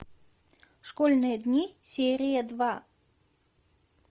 школьные дни серия два